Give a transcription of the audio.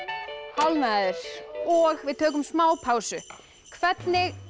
hálfnaður og við tökum smá pásu hvernig